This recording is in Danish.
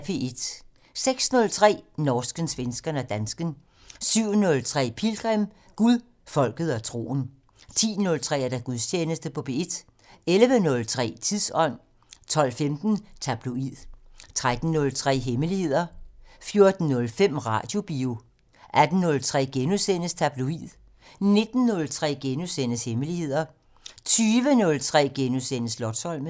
06:03: Norsken, svensken og dansken 07:03: Pilgrim - Gud, folket og troen 10:03: Gudstjeneste på P1 11:03: Tidsånd 12:15: Tabloid 13:03: Hemmeligheder 14:05: Radiobio 18:03: Tabloid * 19:03: Hemmeligheder * 20:03: Slotsholmen *